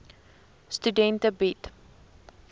studente bied